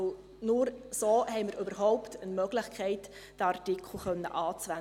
Denn nur so haben wir überhaupt eine Möglichkeit, diesen Artikel anzuwenden.